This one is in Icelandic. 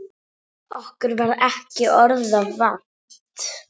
Okkur varð ekki orða vant.